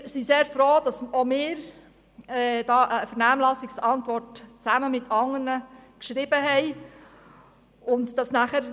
Auch wir haben uns zusammen mit anderen in der Vernehmlassung geäussert.